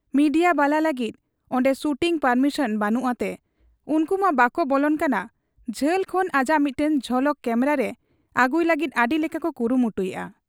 Media ᱵᱟᱞᱟ ᱞᱟᱹᱜᱤᱫ ᱚᱱᱰᱮ ᱥᱩᱴᱤᱝ ᱯᱟᱨᱢᱤᱥᱚᱱ ᱵᱟᱹᱱᱩᱜ ᱛᱮ ᱩᱱᱠᱩᱢᱟ ᱵᱟᱠᱚ ᱵᱚᱞᱚᱱ ᱠᱟᱱᱟ, ᱡᱷᱟᱹᱞ ᱠᱷᱚᱱ ᱟᱡᱟᱜ ᱢᱤᱫᱴᱟᱹᱝ ᱡᱷᱚᱞᱚᱠ ᱠᱮᱢᱨᱟᱨᱮ ᱟᱹᱜᱩᱭ ᱞᱟᱹᱜᱤᱫ ᱟᱹᱰᱤ ᱞᱮᱠᱟᱠᱚ ᱠᱩᱨᱩᱢᱩᱴᱩ ᱮᱜ ᱟ ᱾